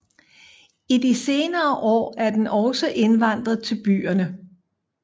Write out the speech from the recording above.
I de senere år er den også indvandret til byerne